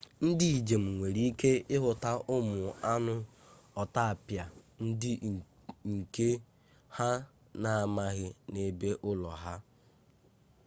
ndị njem nwere ike ịhụta ụmụ anụ ọtapịa ndị nke ha na-amaghị n'ebe ụlọ ha